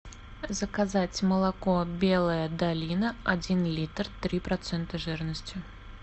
заказать молоко белая долина один литр три процента жирности